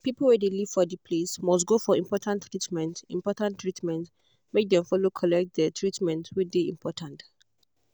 people wey de live for de place must go for important treatment important treatment make dem follow collect de treatment wey de important.